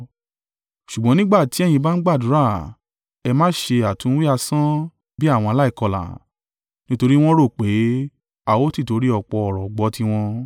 Ṣùgbọ́n nígbà ti ẹ̀yin bá ń gbàdúrà, ẹ má ṣe àtúnwí asán bí àwọn aláìkọlà, nítorí wọn rò pé a ó tìtorí ọ̀pọ̀ ọ̀rọ̀ gbọ́ tiwọn.